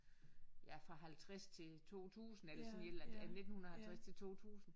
Ja fra 50 til 2000 eller sådan et eller andet øh 1950 til 2000